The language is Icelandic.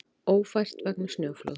Ófært vegna snjóflóðs